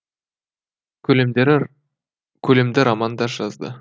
көлемді роман да жазды